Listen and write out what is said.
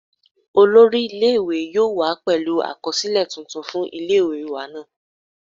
Olori ile-iwe yoo wa pẹlu akọsilẹ tuntun fun ile-iwe naa